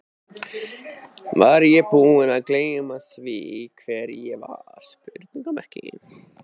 Var ég búinn að gleyma því hver ég var?